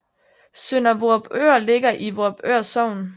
Sønder Vorupør ligger i Vorupør Sogn